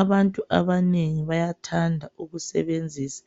Abantu abanengi bayathanda ukusebenzisa